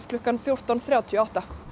klukkan fjórtán þrjátíu og átta